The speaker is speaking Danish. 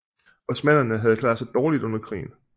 Osmannerne havde klaret sig dårligt under krigen